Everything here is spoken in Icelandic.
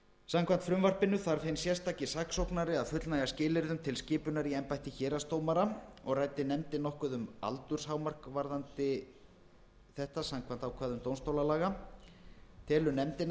samkvæmt frumvarpinu þarf hinn sérstaki saksóknari að fullnægja skilyrðum til skipunar í embætti héraðsdómara og ræddi nefndin nokkuð um aldurshámark varðandi þetta samkvæmt ákvæðum dómstólalaga telur nefndin að það